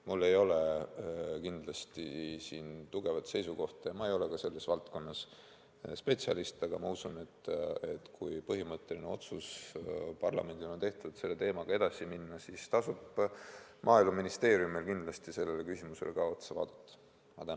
Mul ei ole siin kindlasti raudset seisukohta, ma ei ole selles valdkonnas spetsialist, aga ma usun, et kui parlamendis on tehtud põhimõtteline otsus selle teemaga edasi minna, siis tasub Maaeluministeeriumil ka sellele küsimusele otsa vaadata.